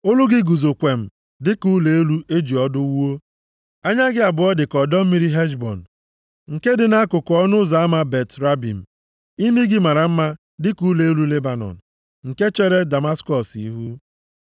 Olu gị guzo kwem dị ka ụlọ elu e ji ọdụ wuo. Anya gị abụọ dị ka ọdọ mmiri Heshbọn nke dị nʼakụkụ ọnụ ụzọ ama Bat-Rabim. Imi gị mara mma dị ka ụlọ elu Lebanọn nke chere Damaskọs ihu.